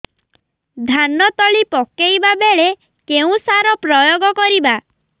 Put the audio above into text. ଧାନ ତଳି ପକାଇବା ବେଳେ କେଉଁ ସାର ପ୍ରୟୋଗ କରିବା